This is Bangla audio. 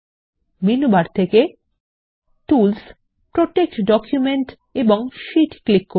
মেনু বার থেকে টুলস প্রোটেক্ট ডকুমেন্ট এবং শিটক্লিক করুন